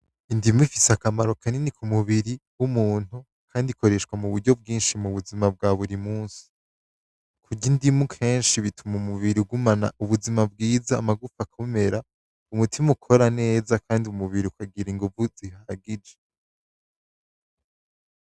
Indimu ifise akamaro kanini ku mubiri w'umuntu kandi ikoreshwa mu buryo bwinshi mu buzima bwa buri musi, kurya indimu kenshi bituma umubiri ugumana ubuzima bwiza amagufa akomera, umutima ukora neza kandi umubiri ukagira inguvu zihagije.